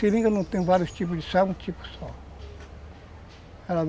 Seringa não tem vários tipos de, é um tipo só.